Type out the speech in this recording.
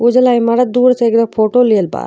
इ जोला इमारत दू ओर से फोटो लिहल बा।